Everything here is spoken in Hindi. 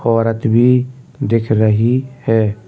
औरत भी दिख रही है।